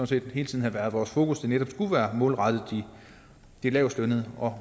set hele tiden har været vores fokus at det netop skulle være målrettet de lavestlønnede og